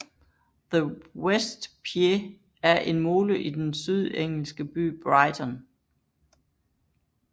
The West Pier er en mole i den sydengelske by Brighton